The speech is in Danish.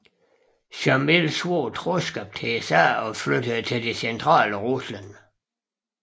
Sjamil svor troskab til zaren og flyttede til det centrale Rusland